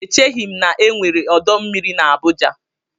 Echeghi m na-enwere ọdọ mmiri na Abuja.